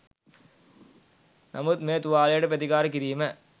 නමුත් මේ තුවාලයට ප්‍රතිකාර කිරීම